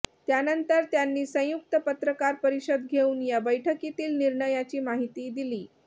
त्यानंतर त्यांनी संयुक्त पत्रकार परिषद घेऊन या बैठकीतील निर्णयाची माहिती दिली